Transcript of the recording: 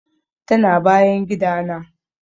Tana bayan gidana.